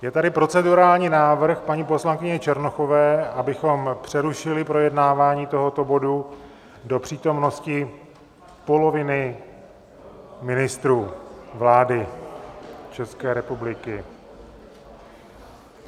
Je tady procedurální návrh paní poslankyně Černochové, abychom přerušili projednávání tohoto bodu do přítomnosti poloviny ministrů vlády České republiky.